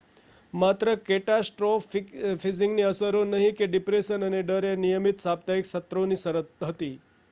માત્ર કેટાસ્ટ્રોફીઝિંગની અસરો નહીં કે ડિપ્રેશન અને ડર એ નિયમિત સાપ્તાહિક સત્રોની શરત હતી